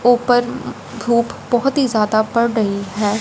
ऊपर उम धूप बहोत ही ज्यादा पड़ रही है।